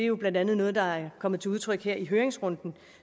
jo blandt andet er er kommet til udtryk her i høringsrunden